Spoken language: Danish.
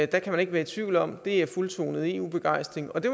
det kan man ikke være tvivl om det er fuldtonet eu begejstring og det